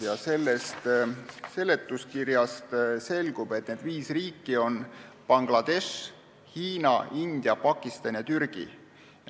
Ja seletuskirjast selgub, et need viis riiki on Bangladesh, Hiina, India, Pakistan ja Türgi.